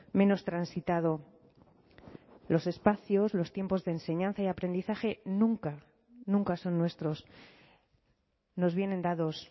menos transitado los espacios los tiempos de enseñanza y aprendizaje nunca nunca son nuestros nos vienen dados